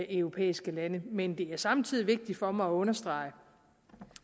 europæiske lande men det er samtidig vigtigt for mig at understrege